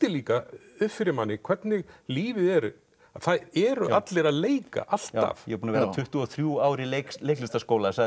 líka upp fyrir manni hvernig lífið er það eru allir að leika alltaf ég er búinn að vera tuttugu og þrjú ár í leiklistarskóla